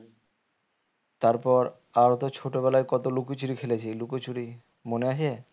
তারপর তাও তো ছোট বেলায় কত লুকোচুরি খেলেছি লুকোচুরি মনে আছে